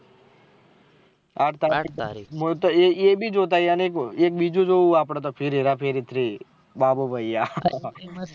આઠ તરીકે હું તો એ ભી જોતા આયીયે એક બીજું આપળે તો ફિર હેરા ફેરી three બાબુ ભૈયા